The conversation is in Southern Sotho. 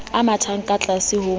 a mathang ka tlase ho